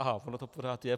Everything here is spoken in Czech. Aha, ono to pořád je.